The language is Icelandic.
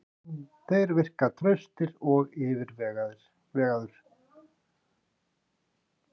Þeir virka traustir og yfirvegaður.